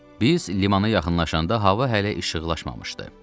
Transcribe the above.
Biz limana yaxınlaşanda hava hələ işıqlaşmamışdı.